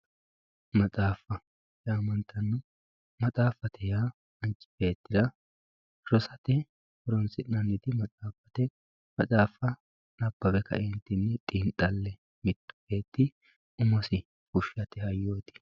Maxaafa yaamantanno maxaafate yaa Manchi beettira rosate Horonsi'nannit maxaafate maxaafa Nabbawe kaeenittin xiinixale mittu beeti umosi fushate hayyoot